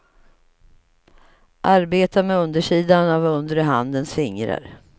Arbeta med undersidan av undre handens fingrar.